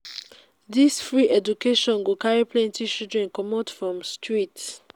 dis free education go carry plenty children comot from street.